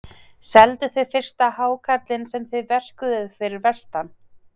Selduð þið fyrsta hákarlinn sem þið verkuðuð fyrir vestan?